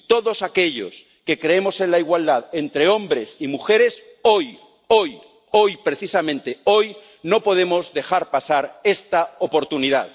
Y todos aquellos que creemos en la igualdad entre hombres y mujeres, hoy, hoy, hoy —precisamente hoy—, no podemos dejar pasar esta oportunidad.